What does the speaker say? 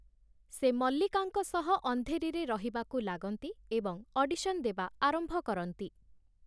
ସେ ମଲ୍ଲିକାଙ୍କ ସହ ଅନ୍ଧେରିରେ ରହିବାକୁ ଲାଗନ୍ତି ଏବଂ ଅଡିସନ୍ ଦେବା ଆରମ୍ଭ କରନ୍ତି ।